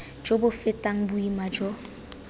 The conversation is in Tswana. jo bo fetang boima jo